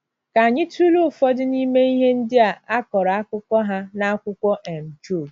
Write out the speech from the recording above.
Ka anyị tụlee ụfọdụ n’ime ihe ndị a kọrọ akụkọ ha n’akwụkwọ um Job.